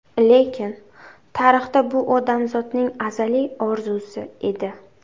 Lekin tarixda bu odamzodning azaliy orzusi edi.